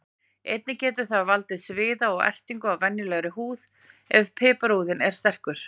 Einnig getur það valdið sviða og ertingu á venjulegri húð ef piparúðinn er sterkur.